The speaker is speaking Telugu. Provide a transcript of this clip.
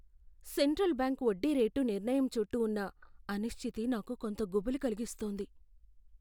సెంట్రల్ బ్యాంక్ వడ్డీ రేటు నిర్ణయం చుట్టూ ఉన్న అనిశ్చితి నాకు కొంత గుబులు కలిగిస్తోంది.